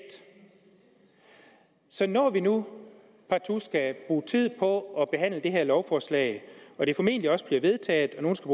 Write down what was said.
så når vi nu partout skal bruge tid på at behandle det her lovforslag og det formentlig også bliver vedtaget og nogle skal